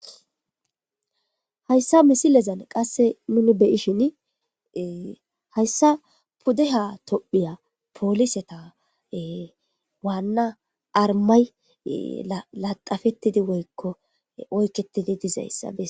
hayssa misilezan qasse nuni be'ishine hayssa puddeha tophiya pooliseta waanna armay laxafettidi woykko oykketidi dizayssa besses